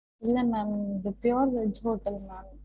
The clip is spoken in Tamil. இல்ல ma'am இது pure veg hotel ma'am